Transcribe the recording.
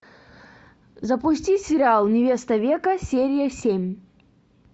запусти сериал невеста века серия семь